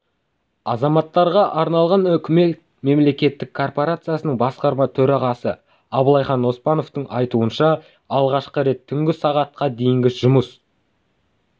азаматтарға арналған үкімет мемлекеттік корпорациясының басқарма төрағасы абылайхан оспановтың айтуынша алғашқы рет түнгі сағат дейінгі жұмыс